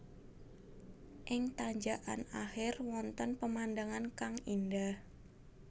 Ing tanjakkan akhir wonten pemandangan kang indah